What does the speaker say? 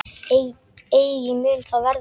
Eigi mun það verða.